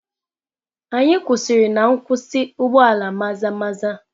Anyị kwụsịrị na nkwụsị ụgbọ ala Maza-maza.